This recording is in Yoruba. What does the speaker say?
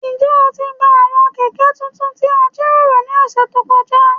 Njẹ o ti gba awọn kẹkẹ tuntun ti a jiroro ni ọsẹ to kọja?